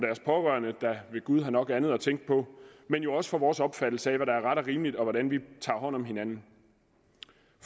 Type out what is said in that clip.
pårørende der ved gud har nok andet at tænke på men jo også for vores opfattelse af hvad der er ret og rimeligt og hvordan vi tager hånd om hinanden